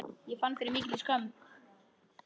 Ég fann fyrir mikilli skömm.